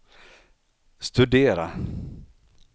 studera